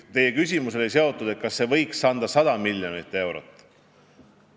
Teie küsimus oli, kas see võiks anda 100 miljonit eurot.